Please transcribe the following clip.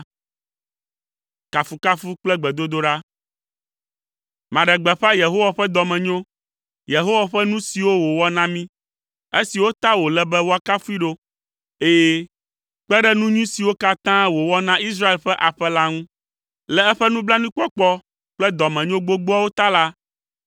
Maɖe gbeƒã Yehowa ƒe dɔmenyo, Yehowa ƒe nu siwo wòwɔ na mí, esiwo ta wòle be woakafui ɖo. Ɛ̃, kpe ɖe nu nyui siwo katã wòwɔ na Israel ƒe aƒe la ŋu, le eƒe nublanuikpɔkpɔ kple dɔmenyo gbogboawo ta la,